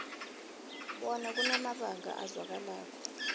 bona kunamabanga azwakalako